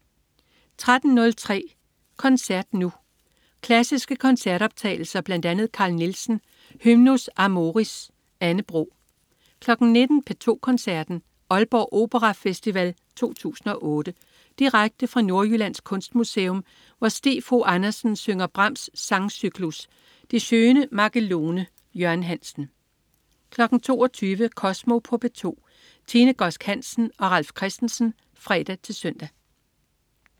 13.03 Koncert Nu. Klassiske koncertoptagelser. Bl.a. Carl Nielsen: Hymnus amoris. Anne Bro 19.00 P2 Koncerten. Aalborg Operafestival 2008. Direkte fra Nordjyllands Kunstmuseum, hvor Stig Fogh Andersen synger Brahms' sangcyklus Die Schöne Magelone. Jørgen Hansen 22.00 Kosmo på P2. Tine Godsk Hansen og Ralf Christensen (fre-søn)